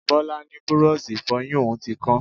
Bọlá ni búrọ́ọ̀ṣì Ìfọ̀yín òun ti kán